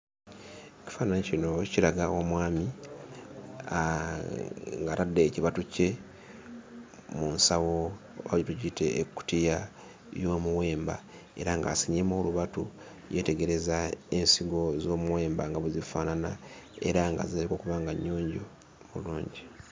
Ekifaananyi kino kiraga omwami ng'atadde ekibatu kye mu nsawo oba tugiyite ekkutiya y'omuwemba era ng'asenyeemu olubatu, yeetegereza ensigo z'omuwemba nga bwe zifaanana era nga zirabika okuba nga nnyonjo bulungi.